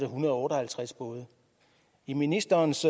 hundrede og otte og halvtreds både i ministerens